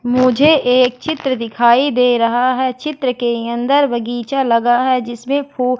मुझे एक चित्र दिखाई दे रहा है चित्र के अंदर बगीचा लगा है जिसमें फू--